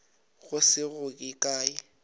go se go ye kae